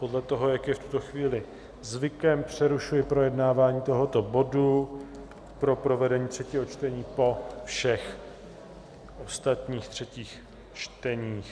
Podle toho, jak je v tuto chvíli zvykem, přerušuji projednávání tohoto bodu pro provedení třetího čtení po všech ostatních třetích čteních.